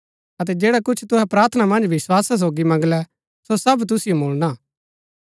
अतै जैडा कुछ तुहै प्रार्थना मन्ज विस्‍वासा सोगी मंगलै सो सब तुसिओ मुळणा